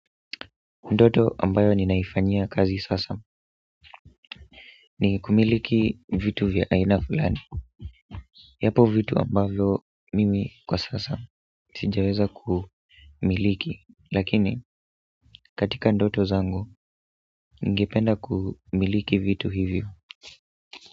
Ndoto ambayo ninaifanyia kazi sasa ni kumiliki vitu vya aina fulani yapo vitu ambavyo mimi kwa sasa sijaweza kumiliki lakini katika ndoto zangu ningependa kumiliki vitu hivyo.